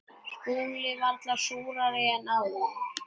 SKÚLI: Varla súrari en áður.